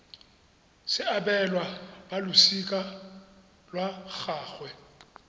se abelwa balosika lwa gagwe